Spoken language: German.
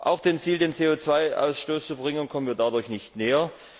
Auch dem Ziel, den CO Ausstoß zu verringern, kommen wir dadurch nicht näher.